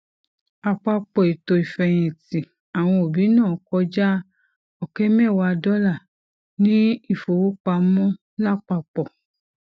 àpapọ ètò ìfẹyìntì àwọn òbí náà kọjá ọkẹ mẹwàá dollar ní ìfowópamọ lápapọ